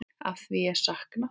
Afþvíað ég sakna.